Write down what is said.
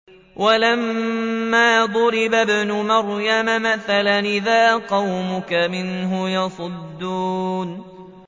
۞ وَلَمَّا ضُرِبَ ابْنُ مَرْيَمَ مَثَلًا إِذَا قَوْمُكَ مِنْهُ يَصِدُّونَ